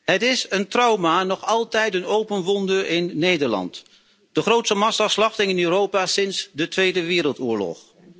Het is een trauma, nog altijd een open wonde in Nederland, de grootste massaslachting in Europa sinds de Tweede Wereldoorlog.